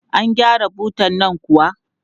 An gyara butan nan kuwa?